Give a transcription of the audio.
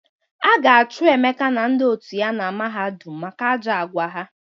A ga-achụ Emeka na ndị otu ya na mahadum maka ajọ agwa ha.